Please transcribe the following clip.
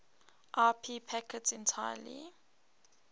ip packets entirely